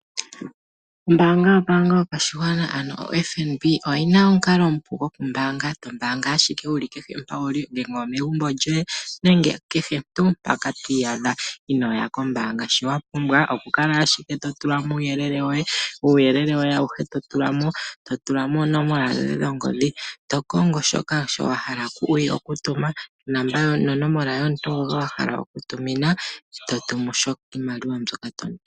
Ombaanga yo tango yopashigwa oyina omukalo omupu wokumbaanga shampoka twii adha, ano inoya ombaanga, shii wapumbwa okutulamo owala uuyelele woye, nonomola ongodhi, opuo otovulu kutuma oshimaliwa.